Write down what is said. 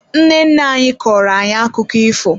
Nne nne anyị kọọro ayi akụkọ ifo.